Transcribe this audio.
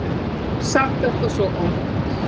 Ég hef sagt þetta svo oft.